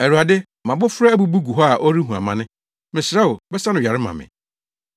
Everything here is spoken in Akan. “Awurade, mʼabofra abubu gu hɔ a ɔrehu amane; mesrɛ wo, bɛsa no yare ma me.”